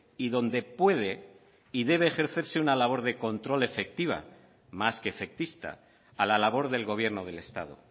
y donde puede y debe ejercerse una labor de control efectiva más que efectista a la labor del gobierno del estado